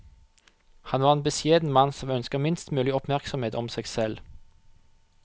Han var en beskjeden mann som ønsket minst mulig oppmerksomhet om seg selv.